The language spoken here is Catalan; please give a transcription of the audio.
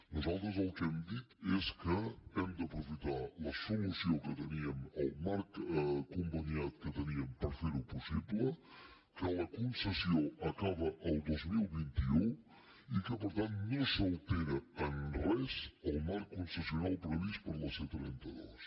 nosaltres el que hem dit és que hem d’aprofitar la solució que teníem el marc conveniat que teníem per fer ho possible que la concessió acaba el dos mil vint u i que per tant no s’altera en res el marc concessional previst per a la c trenta dos